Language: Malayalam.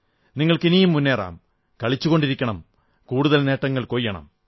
നിങ്ങൾ ഇനിയും മുന്നേറം കളിച്ചുകൊണ്ടിരിക്കണം കൂടുതൽ നേട്ടങ്ങൾ കൊയ്യണം